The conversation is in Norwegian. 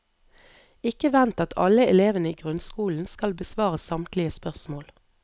Ikke vent at alle elevene i grunnskolen skal besvare samtlige spørsmål.